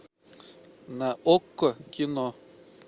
на окко кино